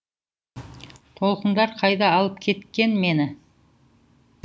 толқындар қайда алып кеткен мені